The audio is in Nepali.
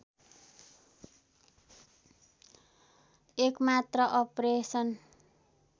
एकमात्र अपरेसन